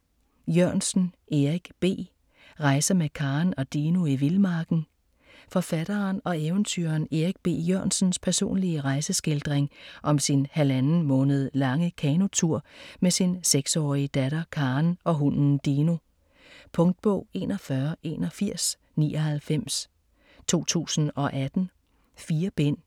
Jørgensen, Erik B.: Rejser med Karen og Dino i vildmarken Forfatteren og eventyreren Erik B. Jørgensens personlige rejeskildring om sin halvanden måned lange kanotur med sin 6-årige datter Karen og hunden Dino. Punktbog 418199 2018. 4 bind.